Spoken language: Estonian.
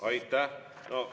Aitäh!